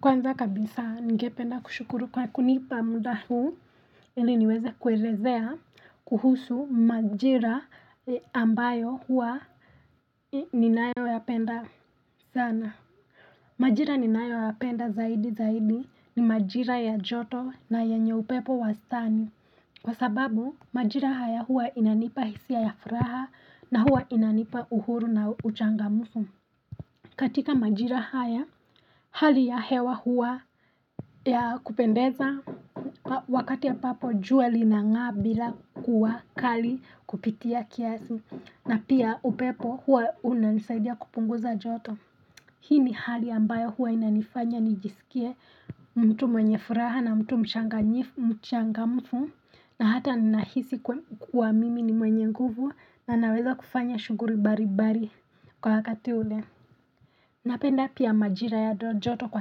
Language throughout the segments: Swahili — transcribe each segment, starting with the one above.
Kwanza kabisa ningependa kushukuru kwa kunipa muda huu ili niweze kuelezea kuhusu majira ambayo huwa ninayoyapenda sana majira ninayoyapenda zaidi zaidi ni majira ya joto na yenye upepo wastani kwa sababu majira haya huwa inanipa hisia ya furaha na hua inanipa uhuru na uchangamfu katika majira haya hali ya hewa hua ya kupendeza wakati ambapo jua linang'aa bila kuwa kali kupitia kiasi na pia upepo huwa unanisaidia kupunguza joto Hii ni hali ambayo huwa inanifanya nijisikie mtu mwenye furaha na mtu mchangamfu na hata nahisi kuwa mimi ni mwenye nguvu na naweza kufanya shughuli mbalimbali kwa wakati ule Napenda pia majira ya joto kwa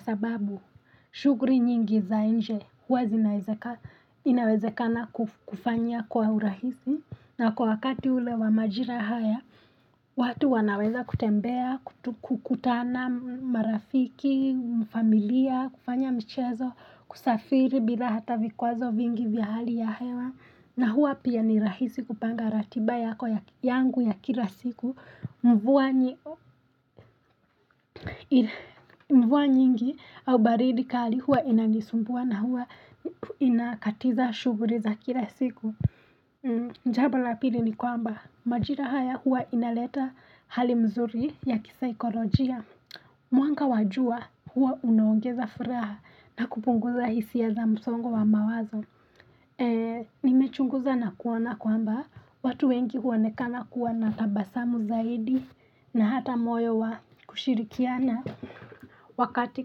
sababu shughuli nyingi za nje huwa zinawezekana inawezekana kufanya kwa urahisi na kwa wakati ule wa majira haya watu wanaweza kutembea, kutana marafiki, familia, kufanya michezo, kusafiri bila hata vikwazo vingi vya hali ya hewa na huwa pia ni rahisi kupanga ratiba yako yangu ya kila siku mvua. Mvua nyingi au baridi kali huwa inanisumbua na huwa inakatiza shughuli za kila siku jambo la pili ni kwamba majira haya huwa inaleta hali mzuri ya kisaikolojia Mwanga wa jua huwa unaongeza furaha na kupunguza hisia za msongo wa mawazo Nimechunguza na kuona kwamba watu wengi huonekana kuwa na tabasamu zaidi na hata moyo wa kushirikiana Wakati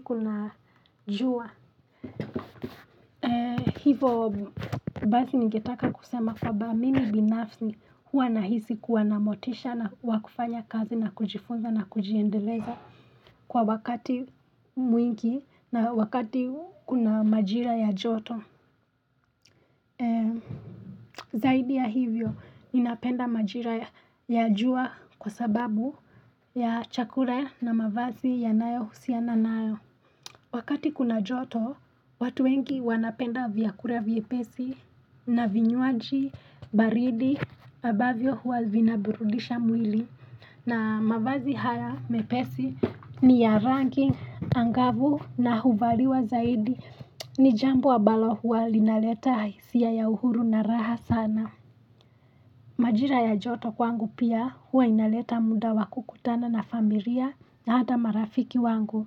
kuna jua hivo Basi ningetaka kusema kwamba mimi binafsi huwa nahisi kuwa na motisha na wa kufanya kazi na kujifunza na kujiendeleza kwa wakati mwingi na wakati kuna majira ya joto Zaidi ya hivyo ninapenda majira ya jua kwa sababu ya chakula na mavazi yanayo husiana nayo Wakati kuna joto, watu wengi wanapenda vyakula vyepesi na vinywaji, baridi, ambavyo huwa vinaburudisha mwili na mavazi haya mepesi ni ya rangi, angavu na huvaliwa zaidi ni jambo ambalo huwa linaleta hisia ya uhuru na raha sana Majira ya joto kwangu pia huwa inaleta muda wa kukutana na familia na hata marafiki wangu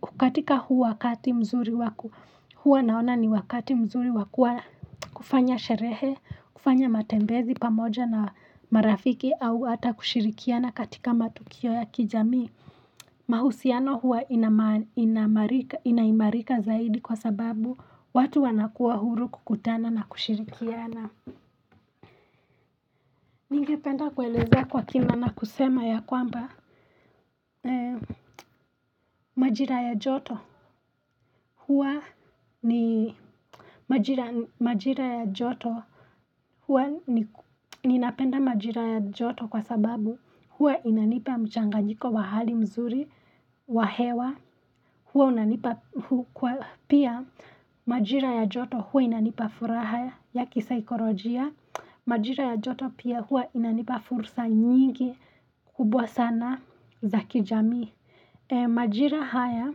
Hukatika huu wakati mzuri wa ku huwa naona ni wakati mzuri wa kuwa kufanya sherehe kufanya matembezi pamoja na marafiki au ata kushirikiana katika matukio ya kijami mahusiano huwa inaimarika zaidi kwa sababu watu wanakuwa huru kukutana na kushirikiana ningependa kuelezea kwa kina na kusema ya kwamba Majira ya joto huwa ni Majira majira ya joto huwa ninapenda majira ya joto kwa sababu huwa inanipa mchanganyiko wa hali mzuri wa hewa huwa unanipa kwa pia majira ya joto huwa inanipa furaha ya kisaikolojia Majira ya joto pia huwa inanipa fursa nyingi kubwa sana za kijamii Majira haya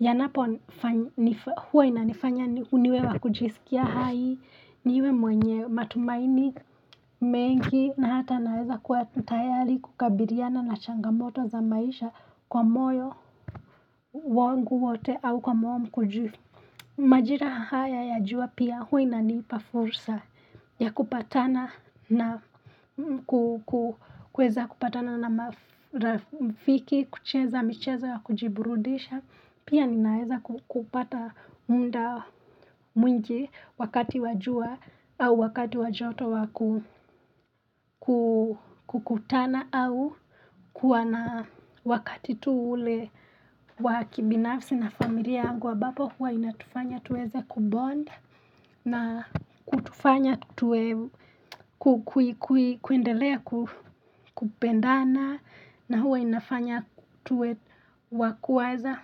yanapo huwa inanifanya niwe wa kujisikia hai niwe mwenye matumaini mengi na hata naweza kuwa tayari kukabiliana na changamoto za maisha kwa moyo wangu wote au kwa moyo mkunjufu. Majira haya ya jua pia huwa inanipa fursa ya kupatana na kuweza kupatana na marafiki, kucheza, michezo ya kujiburudisha, pia ninaeza kupata muda mwingi wakati wa jua au wakati wa joto wa kukutana au kuwa na wakati tu ule wa kibinafsi na familia yangu ambapo huwa inatufanya tuweze kubond. Na kutufanya tuwe kuendelea kupendana na huwa inafanya tuwe wa kuwaza.